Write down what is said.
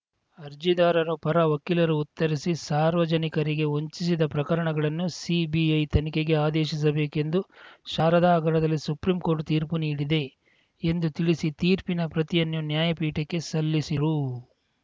ಅರ್ಜಿದಾರರ ಪರ ವಕೀಲರು ಉತ್ತರಿಸಿ ಸಾರ್ವಜನಿಕರಿಗೆ ವಂಚಿಸಿದ ಪ್ರಕರಣಗಳನ್ನು ಸಿಬಿಐ ತನಿಖೆಗೆ ಆದೇಶಿಸಬೇಕೆಂದು ಶಾರದಾ ಹಗರಣದಲ್ಲಿ ಸುಪ್ರೀಂ ಕೋರ್ಟ್‌ ತೀರ್ಪು ನೀಡಿದೆ ಎಂದು ತಿಳಿಸಿ ತೀರ್ಪಿನ ಪ್ರತಿಯನ್ನು ನ್ಯಾಯಪೀಠಕ್ಕೆ ಸಲ್ಲಿಸಿದರು